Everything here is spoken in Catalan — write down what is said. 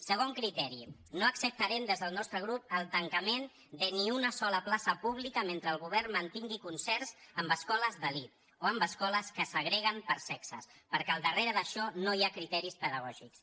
segon criteri no acceptarem des del nostre grup el tancament de ni una sola plaça pública mentre el govern mantingui concerts amb escoles d’elit o amb escoles que segreguen per sexes perquè al darrere d’això no hi ha criteris pedagògics